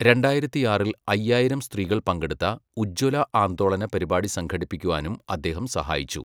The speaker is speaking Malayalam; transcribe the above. രണ്ടായിരത്തിയാറിൽ അയ്യായിരം സ്ത്രീകൾ പങ്കെടുത്ത 'ഉജ്ജ്വല ആന്ദോളന' പരിപാടി സംഘടിപ്പിക്കുവാനും അദ്ദേഹം സഹായിച്ചു.